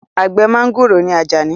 Àgbẹ̀ mọ́ngòrò ni Àjàní